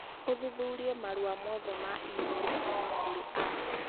ũthuthurie marũa mothe ma e-mail kuuma kũrĩ Ash